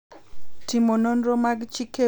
Timo nonro mag chik ewi ywarruoge mag lope.